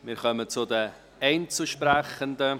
Wir kommen zu den Einzelsprechenden.